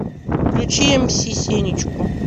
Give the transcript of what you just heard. включи мс сенечку